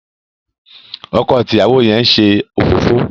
ọkọ àti ìyàwó yén ṣe òfófó.